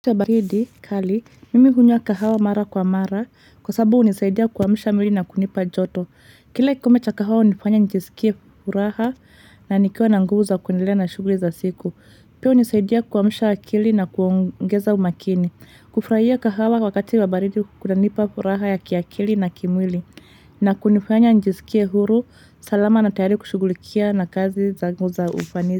Kali, mimi hunywa kahawa mara kwa mara, kwa sababu unisaidia kuamusha mwili na kunipa joto. Kila kikombe cha kahawa unifanya njisikie furaha na nikiwa na nguvu za kuendelea na shuguli za siku. Pia unisaidia kuamsha akili na kuongeza umakini. Kufrahia kahawa wakati wa baridi kunanipa furaha ya kiakili na kimwili. Na kunifanya njisikie huru, salama na tayari kushugulikia na kazi za ngu za ufanisi.